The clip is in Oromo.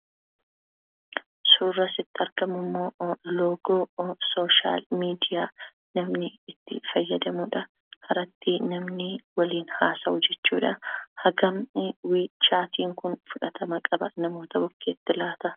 Suurri asitti argamu immoo loogoo social media dha. Kan namni tti fayyadamudha. Irratti namni waliin haasawu jechuudha. Hagam chat Kun fudhatama qaba namoota bukkeetti laata?